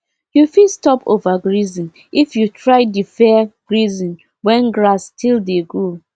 you fit stop overgrazing if you try deferred grazing when grass still dey grow